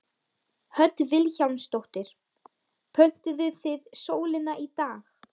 Hödd Vilhjálmsdóttir: Pöntuðuð þið sólina í dag?